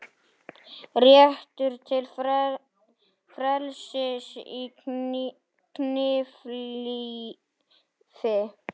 Réttur til frelsis í kynlífi